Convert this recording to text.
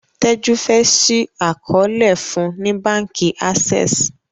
Teju fe ṣii àkọọlẹ fún ní bánkì Access.